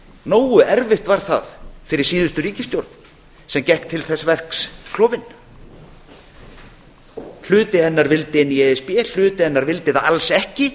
nógu erfitt var það fyrir síðustu ríkisstjórn sem gekk til þess verks klofin hluti hennar vildi inn í e s b hluti hennar vildi það alls ekki